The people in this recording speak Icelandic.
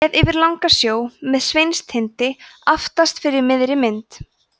séð yfir langasjó með sveinstind aftast fyrir miðri mynd